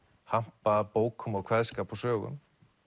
hampa bókum og kveðskap og sögum